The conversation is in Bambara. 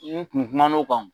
I n'i kun kuma n'o kan.